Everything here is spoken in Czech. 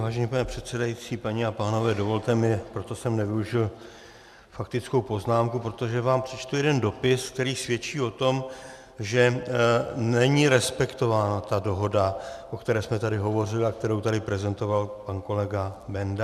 Vážený pane předsedající, paní a pánové, dovolte mi, proto jsem nevyužil faktickou poznámku, protože vám přečtu jeden dopis, který svědčí o tom, že není respektována ta dohoda, o které jsme tady hovořili a kterou tady prezentoval pan kolega Benda.